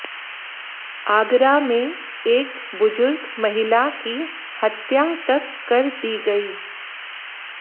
आगरा में एक बुजुर्ग महिला की हत्या तक कर दी गई